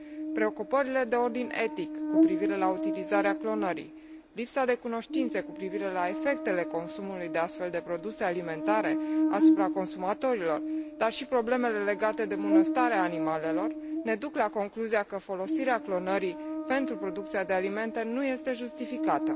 Preocupările de ordin etic cu privire la utilizarea clonării, lipsa de cunoștințe cu privire la efectele consumului de astfel de produse alimentare asupra consumatorilor, dar și problemele legate de bunăstarea animalelor, ne duc la concluzia că folosirea clonării pentru producția de alimente nu este justificată.